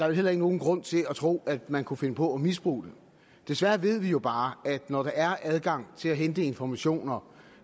vel heller ikke nogen grund til at tro at man kunne finde på at misbruge det desværre ved vi jo bare at når der er adgang til at hente informationer